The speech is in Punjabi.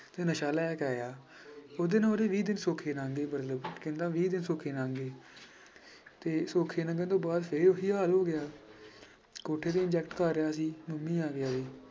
ਤੇ ਨਸ਼ਾ ਲੈ ਕੇ ਆਇਆ ਉਹਦੇ ਨਾਲ ਉਹਦੇ ਵੀਹ ਦਿਨ ਸੌਖੇ ਲੰਘ ਗਏ ਮਤਲਬ ਕਹਿੰਦਾ ਵੀਹ ਦਿਨ ਸੌਖੇ ਲੰਘ ਗਏ ਤੇ ਸੌਖੇ ਲੰਘਣ ਤੋਂ ਬਾਅਦ ਫਿਰ ਉਹੀ ਹਾਲ ਹੋ ਗਿਆ ਕੋਠੇ ਤੇ inject ਕਰ ਰਿਹਾ ਸੀ ਮੰਮੀ ਆ ਗਈ ਉਹਦੀ।